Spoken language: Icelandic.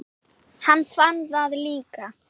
Hann fann það líka.